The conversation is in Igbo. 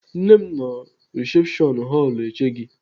Nne m nọ risepshọn họlụ eche gị.